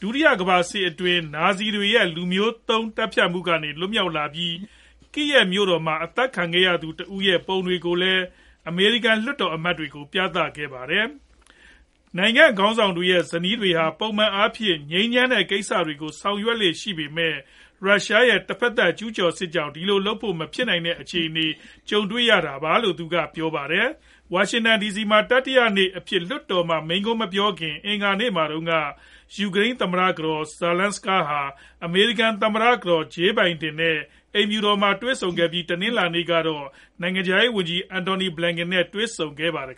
ဒုတိယ ကမ္ဘာစစ်အတွင်း နာဇီတွေရဲ့ လူမျိုးတုံး သတ်ဖြတ်မှုက လွတ်မြောက်လာပြီး၊ Kyiv မြို့တော်မှာ အသတ်ခံခဲ့ရသူတဦးရဲ့ ပုံတွေကိုလည်း အမေရိကန် လွှတ်တော်အမတ်တွေကို ပြသခဲ့ပါတယ်။ နိုင်ငံခေါင်းဆောင်တွေရဲ့ ဇနီးသည်တွေဟာ ပုံမှန်အားဖြင့် ငြိမ်းချမ်းတဲ့ ကိစ္စတွေကို ဆောင်ရွက်လေ့ ရှိကြပေမဲ့၊ ရုရှားရဲ့ တဖက်သတ် ကျုးကျော်စစ်ကြောင့် ဒီလိုလုပ်ဖို့ မဖြစ်နိုင်တဲ့ အခြေအနေနဲ့ ကြုံနေရတယ်လို့လည်း ပြောပါတယ်။ ဝါရှင်တန်ဒီစီမှာ တတိယနေ့အဖြစ် လွှတ်တော်မှာ မိန့်ခွန်းမပြောခင် အင်္ဂါနေ့မှာတုန်းက ယူကရိန်း သမ္မတ ကတော် Zelenska ဟာ အမေရိကန် သမ္မတ ကတော် Jill Biden နဲ့ အိမ်ဖြူတော်မှာ တွေ့ဆုံခဲ့ပြီး၊ တနင်္လာနေ့ကလည်း နိုင်ငံခြားရေးဝန်ကြီး Antony Blinken နဲ့ တွေ့ဆုံခဲ့ပါတယ်